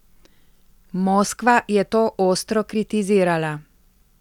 Moskva je to ostro kritizirala.